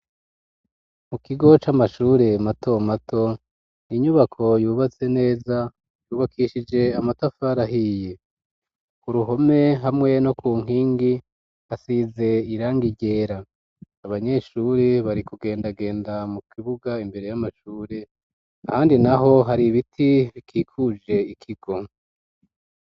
Mu kigo c'amashure mato mato, inyubako yubatse neza yubakishije amatafari ahiye, ku ruhome hamwe no ku nkingi hasize irangi ryera, abanyeshure bari kugendagenda mu kibuga imbere y'amashure, ahandi naho hari ibiti bikikuje ikigo.